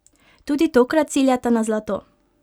Tudi tokrat ciljata na zlato!